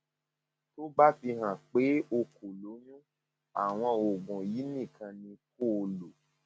tó bá fihàn pé pé o kò lóyún àwọn oògùn yìí nìkan ni kó o lò